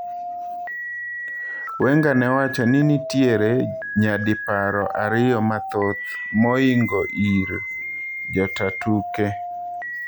Wenger ne owacho ni nitiere nyadiparo ariyo mathoth mohingo ir jotaa tuke .